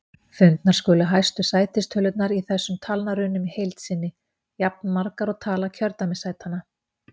Fundnar skulu hæstu sætistölurnar í þessum talnarunum í heild sinni, jafnmargar og tala kjördæmissætanna.